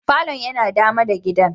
Falon yana dama da gidan.